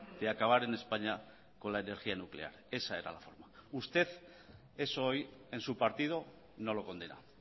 de acabar en españa con la energía nuclear esa era la forma usted eso hoy en su partido no lo condena